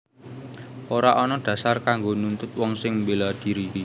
Ora ana dhasar kanggo nuntut wong sing mbéla dhiri